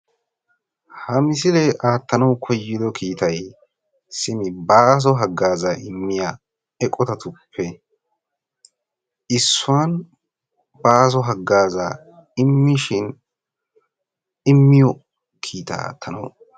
ha misile aattiyo kiittay baaso hagazza imishin bessiya kiitta aattanaw koyissi.